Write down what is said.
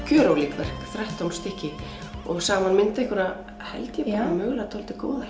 gjörólík verk þrettán stykki og saman mynda þau held ég mögulega dálítið góða